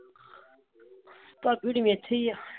ਭਾਬੀ ਹੋਣੀ ਵੀ ਏਥੇ ਹੀ ਆ।